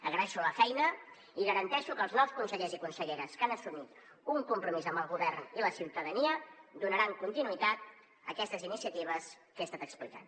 agraeixo la feina i garanteixo que els nous consellers i conselleres que han assumit un compromís amb el govern i la ciutadania donaran continuïtat a aquestes iniciatives que he estat explicant